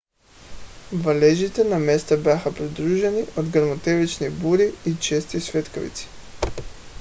валежите на места бяха придружени от гръмотевични бури и чести светкавици